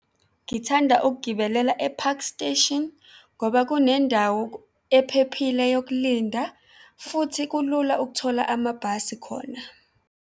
Ngithanda ukugibelela e-Park Station ngoba kunendawo ephephile yokulinda futhi kulula ukuthola amabhasi khona.